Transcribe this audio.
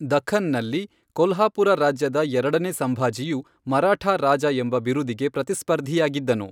ದಖ್ಖನ್ ನಲ್ಲಿ, ಕೊಲ್ಹಾಪುರ ರಾಜ್ಯದ ಎರಡನೆ ಸಂಭಾಜಿಯು ಮರಾಠಾ ರಾಜ ಎಂಬ ಬಿರುದಿಗೆ ಪ್ರತಿಸ್ಪರ್ಧಿಯಾಗಿದ್ದನು.